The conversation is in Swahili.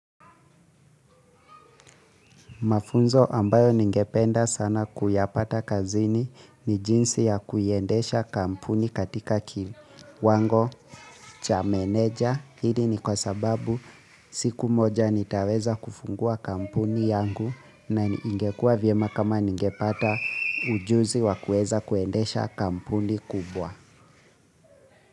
Mafunzo ambayo ningependa sana kuyapata kazini ni jinsi ya kuiendesha kampuni katika kiwango cha meneja. Hili ni kwa sababu siku moja nitaweza kufungua kampuni yangu na ingekuwa vyema kama ningepata ujuzi wa kuweza kuendesha kampuni kubwa.